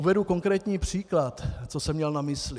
Uvedu konkrétní příklad, co jsem měl na mysli.